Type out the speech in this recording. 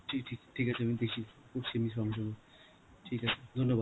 ঠি ঠিক~ ঠিক আছে আমি দেখছি, করছি আমি সঙ্গেসঙ্গে ঠিক আছে, ধন্যবাদ.